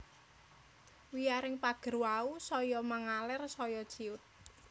Wiyaring pager wau saya mangaler saya ciyut